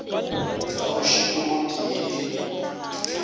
ka mošito o tee le